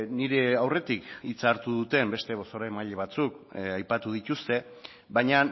nire aurretik hitza hartu duten beste bozeramaile batzuk aipatu dituzte baina